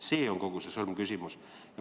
See on kogu see sõlmküsimus.